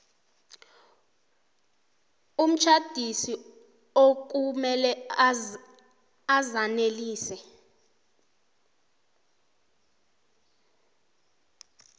umtjhadisi okumele azanelise